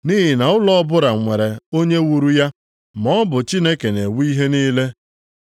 Nʼihi na ụlọ ọbụla nwere onye wuru ya, maọbụ Chineke na-ewu ihe niile.